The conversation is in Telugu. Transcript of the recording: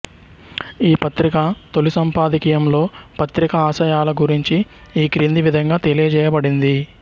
ఈ పత్రిక తొలి సంపాదకీయంలో పత్రిక ఆశయాల గురించి ఈ క్రింది విధంగా తెలియజేయబడింది